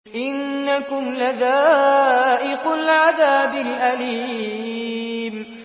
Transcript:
إِنَّكُمْ لَذَائِقُو الْعَذَابِ الْأَلِيمِ